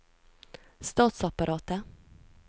statsapparatet